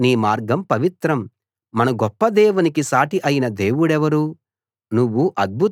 దేవా నీ మార్గం పవిత్రం మన గొప్ప దేవునికి సాటి అయిన దేవుడెవరు